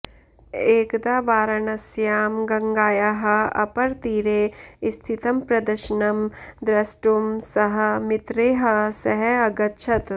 एकदा वाराणस्यां गङ्गायाः अपरतीरे स्थितं प्रदर्शनं द्रष्टुं सः मित्रैः सह अगच्छत्